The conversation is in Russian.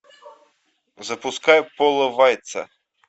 запускай пола вайца